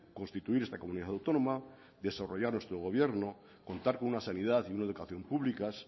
constituir esta comunidad autónoma desarrollar nuestro gobierno contar con una sanidad y una educación públicas